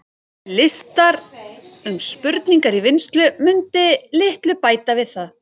Listar um spurningar í vinnslu mundu litlu bæta við það.